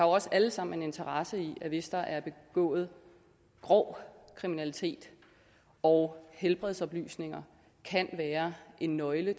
også alle sammen en interesse i at hvis der er begået grov kriminalitet og helbredsoplysninger kan være en nøgle